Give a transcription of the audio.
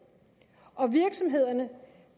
og virksomhederne